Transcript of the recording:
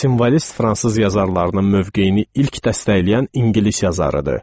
Simvolist fransız yazarlarının mövqeyini ilk dəstəkləyən ingilis yazarıdır.